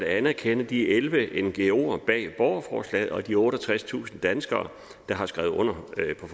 anerkende de elleve ngoere bag borgerforslaget og de otteogtredstusind danskere der har skrevet under